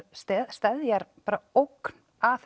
steðjar ógn að